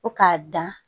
Ko k'a dan